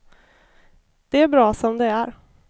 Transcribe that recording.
De är bra som de är.